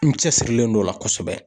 N cɛ sirilen don o la kosɛbɛ.